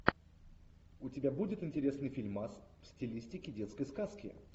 у тебя будет интересный фильмас в стилистике детской сказки